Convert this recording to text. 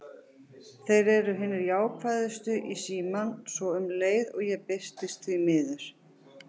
Þeir eru hinir jákvæðustu í símann, svo um leið og ég birtist: því miður.